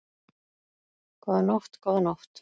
Góða nótt, góða nótt.